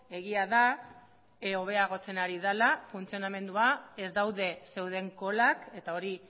egia da hobeagotzen ari dela funtzionamendua ez daude zeuden kolak eta hori